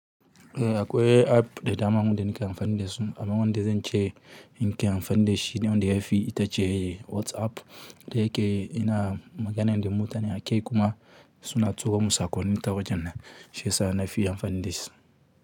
Eh akwai app da dama wanda nake amfani da su amma wanda zan ce in ke amfani da shi ne wanda yafi itace WhatsApp da yake ina magana da mutane akai kuma suna tuko mun hotunan ta wajen nan shiyasa nafi amfani da shi.